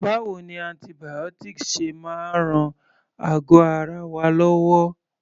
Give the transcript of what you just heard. Báwo ni antibiotics ṣe máa ń ran àgọ́ ara wa lọ́wọ́?